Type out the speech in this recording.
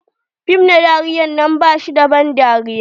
Fim na dariyar nan bashi da ban dariya.